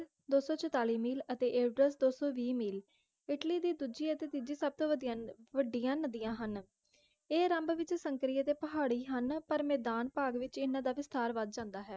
ਦੋ ਸੌ ਚੁਤਾਲੀ ਮੀਲ ਅਤੇ ਏਡਸ ਦੋ ਸੌ ਵੀਹ ਮੀਲ ਇੱਟਲੀ ਦੀ ਦੂਜੀ ਅਤੇ ਤਿੱਜੀ ਸਭ ਤੋਂ ਵਧੀਆ ਵੱਡੀਆਂ ਨਦੀਆਂ ਹਨ ਇਹ ਆਰੰਭ ਵਿਚ ਸੰਕਰੀਏ ਅਤੇ ਪਹਾੜੀ ਹਨ ਪਰ ਮੈਦਾਨ ਭਾਗ ਵਿਚ ਇਹਨਾਂ ਦਾ ਵਿਸਥਾਰ ਵੱਧ ਜਾਂਦਾ ਹੈ